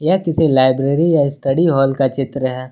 यार किसी लाइब्रेरी या स्टडी हॉल का चित्र है।